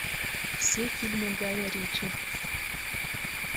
все фильмы гая ричи